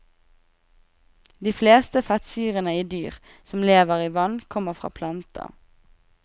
De fleste fettsyrene i dyr som lever i vann kommer fra planter.